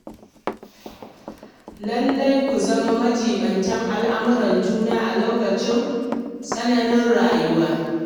Lallai ku zama majiɓinta lamauran juna a lokacin tsananin rayuwa.